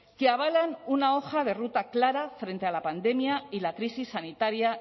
que avalan una hoja de ruta clara frente a la pandemia y la crisis sanitaria